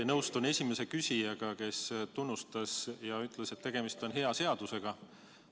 Ma nõustun esimese küsijaga, kes teid tunnustas ja ütles, et tegemist on hea seadusega.